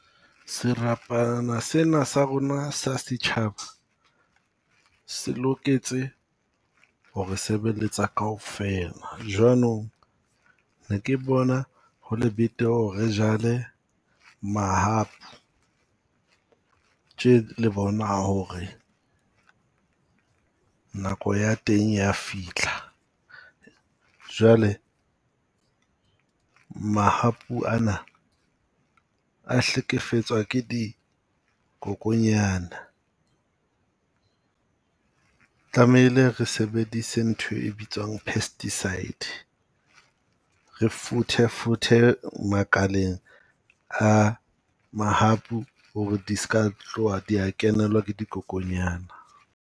Serapana seba sa rona sa setjhaba se loketse ho re re sebeletsa kaofela. Jwanong ne ke bona ho le betere ho re re jale mahapu. Tje le bona ho re nako ya teng ya fitlha. Jwale, mahapu ana a hlekefetswa ke dikokonyana. Tlamehile re sebedise ntho e bitswang pesticide, re futhefuthe makaleng a mahapu ho re di ska tloha di ya kenelwa ke dikokonyana.